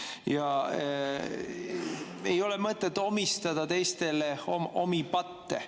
Ja ei ole mõtet omistada teistele omi patte.